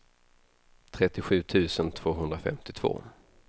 trettiosju tusen tvåhundrafemtiotvå